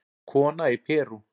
Kona í Perú